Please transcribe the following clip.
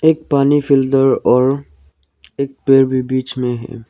एक पानी फिल्टर और एक पेड़ भी बीच में है।